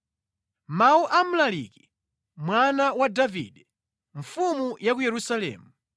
Mawu a Mlaliki, mwana wa Davide, mfumu ya ku Yerusalemu: